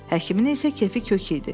Həkimin isə kefi kök idi.